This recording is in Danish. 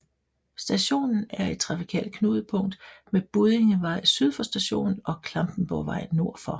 Stationen er et trafikalt knudepunkt med Buddingevej syd for stationen og Klampenborgvej nord for